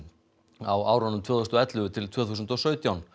á árunum tvö þúsund og ellefu til tvö þúsund og sautján